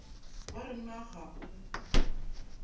ba re na ga o